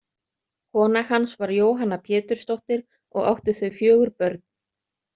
Kona hans var Jóhanna Pétursdóttir og áttu þau fjögur börn.